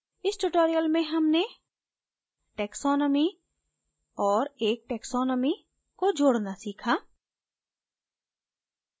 इस tutorial में हमने taxonomy adding a taxonomy को जोडना सीखा